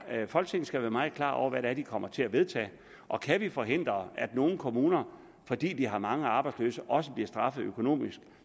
at folketinget skal være meget klar over hvad man kommer til at vedtage og kan vi forhindre at nogle kommuner fordi de har mange arbejdsløse også bliver straffet økonomisk